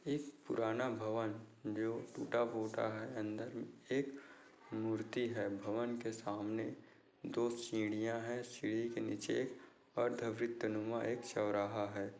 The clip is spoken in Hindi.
एक पुराना भवन जो टूटा फूटा है अंदर एक मूर्ति है भवन के सामने दो सीढ़िया है सीडी के नीचे एक है।